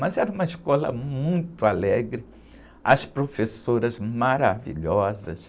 Mas era uma escola muito alegre, as professoras maravilhosas.